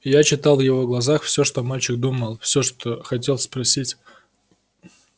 я читал в его глазах всё что мальчик думал всё что хотел спросить